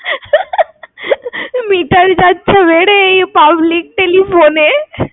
meter যাচ্ছে বেড়ে, এই public telephone এ।